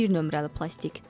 Bir nömrəli plastik.